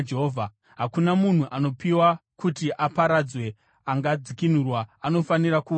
“ ‘Hakuna munhu anopiwa kuti aparadzwe angadzikinurwa; anofanira kuurayiwa.